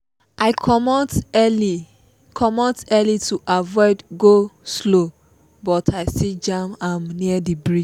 i komot early komot early to avoid go-slow but i still jam am near the bridge